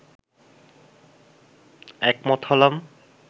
একমত হলাম